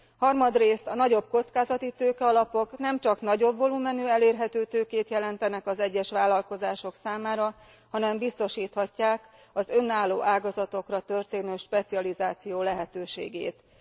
Harmadrészt, a nagyobb kockázatitőke alapok nemcsak nagyobb volumenű, elérhető tőkét jelentenek az egyes vállalkozások számára, hanem biztosíthatják az önálló ágazatokra történő specializáció lehetőségét is.